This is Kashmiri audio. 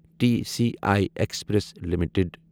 T C I express limited